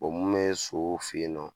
mun bɛ ye so fɛ yen nɔ